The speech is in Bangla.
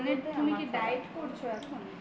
তুমি কি diet করছো এখন